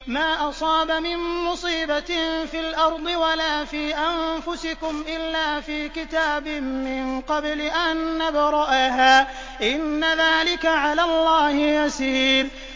مَا أَصَابَ مِن مُّصِيبَةٍ فِي الْأَرْضِ وَلَا فِي أَنفُسِكُمْ إِلَّا فِي كِتَابٍ مِّن قَبْلِ أَن نَّبْرَأَهَا ۚ إِنَّ ذَٰلِكَ عَلَى اللَّهِ يَسِيرٌ